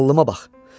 Ağlıma bax.